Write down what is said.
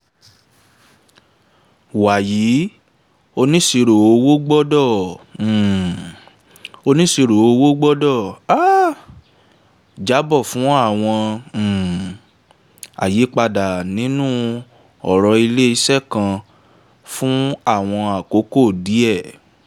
wàyí onisiroowo gbọ́dọ̀ um onisiroowo gbọ́dọ̀ um jábọ̀ fún àwọn um àyípadà nínú ọrọ̀ ilé iṣẹ́ kan fún àwọn àkókò díẹ̀.